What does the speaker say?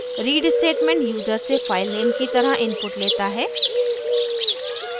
read statement user से filename की तरह input लेता है